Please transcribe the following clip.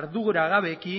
arduragabeki